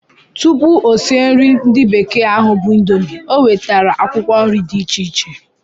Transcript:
Tụpụ o sie nri ndi bekee ahụ bu indomie, o wetara akwụkwọ nri dị iche iche